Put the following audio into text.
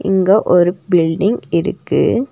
இங்க ஒரு பில்டிங் இருக்கு.